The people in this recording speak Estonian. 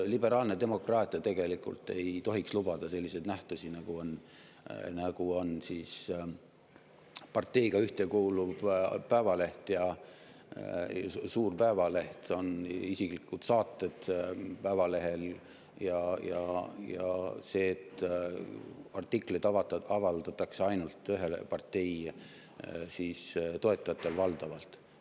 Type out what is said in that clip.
Liberaalne demokraatia tegelikult ei tohiks lubada selliseid nähtusi, nagu on parteiga ühtekuuluv suur päevaleht, isiklikud saated ja see, et valdavalt avaldatakse ainult ühe partei toetajate artikleid.